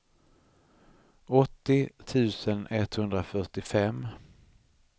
åttio tusen etthundrafyrtiofem